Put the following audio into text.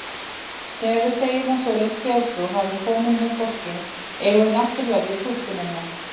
Þegar við segjum að svoleiðis þjóðtrú hafi komið með fólki, eigum við náttúrlega við túlkunina.